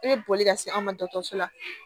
E bɛ boli ka se an ma dɔgɔtɔrɔso la